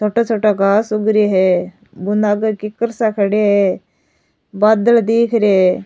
छोटा छोटा घास उग रे है बूंदा गड की करसा खड़े है बादल दीख रे है।